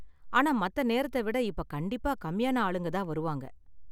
ஆனா, மத்த நேரத்த விட இப்ப கண்டிப்பா கம்மியான ஆளுங்க தான் வருவாங்க